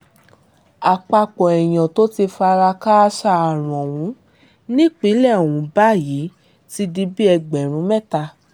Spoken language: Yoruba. àpapọ̀ èèyàn tó ti fara kááṣá kòkòrò àrùn yìí ni ìpínlẹ̀ ọ̀hún báyìí ti di bíi ẹgbẹ̀rún mẹ́ta